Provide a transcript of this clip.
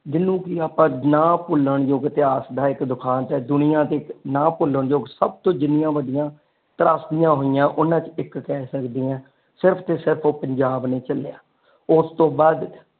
ਜਿੰਨਾ ਨੂੰ ਕੀ ਆਪਾ ਨਾ ਭੁਲਣ ਜੋਗੇ ਇਤਿਹਾਸ ਦਾ ਇਕ ਦੁਖਾਂਤ ਹੈ ਦੁਨੀਆ ਤੇ ਇਕ ਨਾ ਭੁਲਣ ਜੋਗੇ ਸਬ ਤੋਂ ਜਿਨਿਆ ਵੱਡੀਆਂ ਤਰਾਸ਼ੀਆਂ ਹੋਇਆ ਓਨਾ ਚ ਇਕ ਕਹਿ ਸਕਦੀਆਂ ਸਿਰਫ ਤੇ ਸਿਰਫ ਉਹ ਪੰਜਾਬ ਨੇ ਝਲਿਆ ਉਸਤੋਂ ਬਾਅਦ,